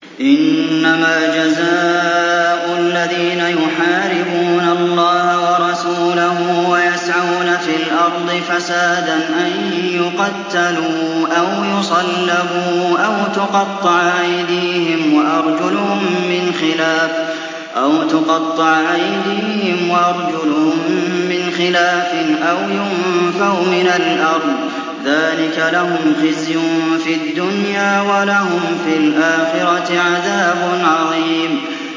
إِنَّمَا جَزَاءُ الَّذِينَ يُحَارِبُونَ اللَّهَ وَرَسُولَهُ وَيَسْعَوْنَ فِي الْأَرْضِ فَسَادًا أَن يُقَتَّلُوا أَوْ يُصَلَّبُوا أَوْ تُقَطَّعَ أَيْدِيهِمْ وَأَرْجُلُهُم مِّنْ خِلَافٍ أَوْ يُنفَوْا مِنَ الْأَرْضِ ۚ ذَٰلِكَ لَهُمْ خِزْيٌ فِي الدُّنْيَا ۖ وَلَهُمْ فِي الْآخِرَةِ عَذَابٌ عَظِيمٌ